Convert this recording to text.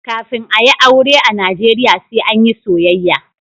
Kafin a yi aure a najeriya sai an yi soyayya.